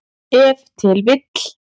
Ef til vill.